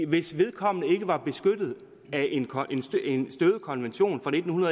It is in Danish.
hvis vedkommende ikke var beskyttet af en støvet konvention fra nitten